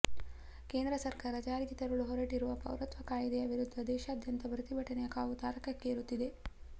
ಕೇಂದ್ರ ಸರ್ಕಾರ ಜಾರಿಗೆ ತರಲು ಹೊರಟಿರುವ ಪೌರತ್ವ ಕಾಯ್ದೆಯ ವಿರುದ್ಧ ದೇಶಾದ್ಯಂತ ಪ್ರತಿಭಟನೆಯ ಕಾವು ತಾರಕಕ್ಕೇರುತ್ತಿದೆ